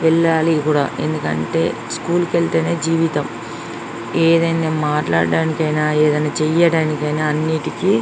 ఎల్లాలి కూడా ఎందుకంటే స్కూల్ కి వెళ్తేనే జీవితం. ఏదైనా మాట్లాడడానికి అయినా ఏదైనా చేయడానికి అయినా అన్ని --